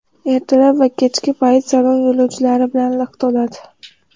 Ertalab va kechki payt salon yo‘lovchilar bilan liq to‘ladi.